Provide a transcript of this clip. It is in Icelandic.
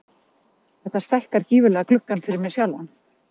Þetta stækkar gífurlega gluggann fyrir mig sjálfan.